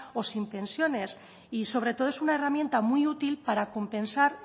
o sin pensiones y sobre todo es una herramienta muy útil para compensar